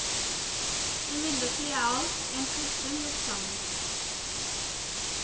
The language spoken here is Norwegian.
Imidlertid er alt, i en sluttsum, gjort sammen.